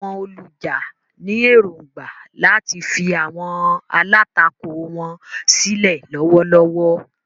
Àwọn olùjà ní èrògbà láti fi àwọn alátakò wọn sílẹ̀ lọ́wọ́lọ́wọ́.